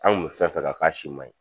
An kun fɛn fɛn kan k'a si man ɲi.